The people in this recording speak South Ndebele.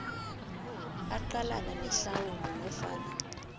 aqalane nehlawulo nofana